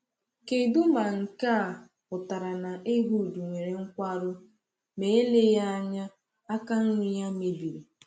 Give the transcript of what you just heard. Kedụ ma nke a pụtara na Ehud nwere nkwarụ, ma eleghị anya aka nri ya mebiri?